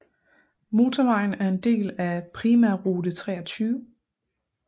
Motorvejen er en del af Primærrute 23